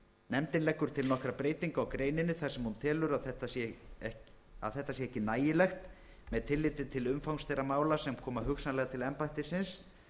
nefndin leggur til nokkra breytingu á greininni þar sem hún telur að þetta sé ekki nægilegt með tilliti til umfangs þeirra mála sem koma hugsanlega til embættisins